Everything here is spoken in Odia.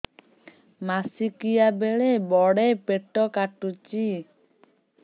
ମାସିକିଆ ବେଳେ ବଡେ ପେଟ କାଟୁଚି